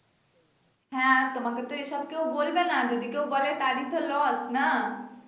হ্যা তোমাকে তো এসব কেউ বলবে না যদি কেউ বলে তারই লস, না